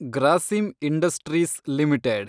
Grasim Industries limited